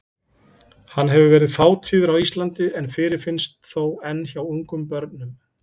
Hann hefur verið fátíður á Íslandi en fyrirfinnst þó enn hjá ungum börnum.